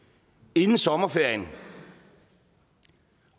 inden sommerferien